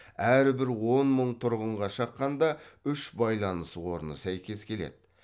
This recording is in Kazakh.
әрбір он мың тұрғынға шаққанда үш байланыс орны сәйкес келеді